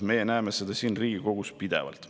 Me näeme seda siin Riigikogus pidevalt.